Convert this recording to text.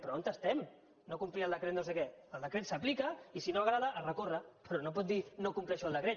però on estem no complir el decret no sé què el decret s’aplica i si no agrada es recorre però no pot dir no compleixo el decret